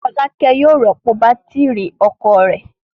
Fọlákẹ́ yóò rọ́pò bátírí ọkọ̀ rẹ̀.